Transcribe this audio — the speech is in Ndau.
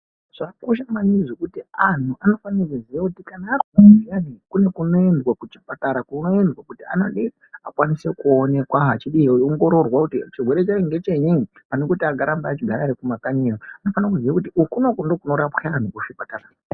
Zvakakosha maningi zvekuti anhu anofanire kuziya kana arwara zviyani kune kunoendwa kuchipatara kunoendwa kuti anodi, akwaniswe kuonekwa achiongororwa kuti chirwere chacho ngechenyi ,panekuti arambe akagara kumakanyi yo anofanire kuziye kuti kunouku ndiko kunorapwa anhu kuchipatara.